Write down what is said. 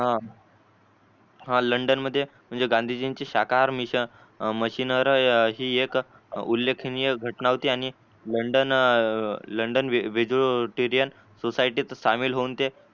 हा हा लंडन मध्ये म्हणजे गांधीजींची शकहार mission ही एक उल्लेखनीय घटना होती आणि लंडन लंडन society सामील होऊन ते